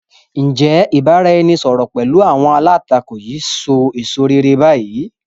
Ǹ jẹ́ ìbáraẹnisọọ̀rọ̀ pẹ̀lú àwọn alátakò yìí ṣe èso réré bayi?